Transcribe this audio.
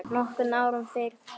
Nokkrum árum fyrr hafði